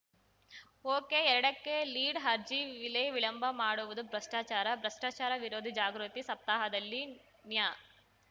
ಒಕೆಎರಡಕ್ಕೆ ಲೀಡ್‌ ಅರ್ಜಿ ವಿಲೇ ವಿಳಂಬ ಮಾಡುವುದೂ ಭ್ರಷ್ಟಾಚಾರ ಭ್ರಷ್ಟಾಚಾರ ವಿರೋಧಿ ಜಾಗೃತಿ ಸಪ್ತಾಹದಲ್ಲಿ ನ್ಯಾ